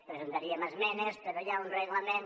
presentaríem esmenes però hi ha un reglament